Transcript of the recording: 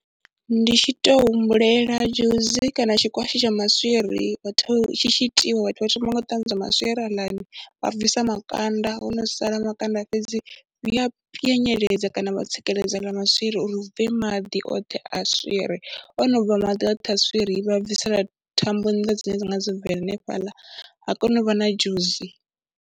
Ndi tshi tou humbulela dzhusi kana tshikwatshi tsha maswiri ho tou, tshi tshi itiwa vhathu vha thoma nga u ṱanzwa maswiri aḽani, vha bvisa makanda, ho no sala makanda fhedzi hu ya pwanyeledza kana vha tsikeledza aḽa maswiri uri hu bve maḓi oṱhe a swiri, o no bva maḓi oṱhe a swiri, vha bvisela thambo nnḓa dzine dza nga vha dzo bva hanefhaḽa ha kona u vha na dzhusi.